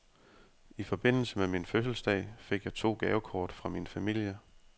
I forbindelse med min fødselsdag fik jeg to gavekort fra min familie.